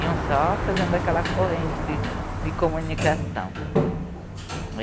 Iam só fazendo aquela corrente de, de comunicação.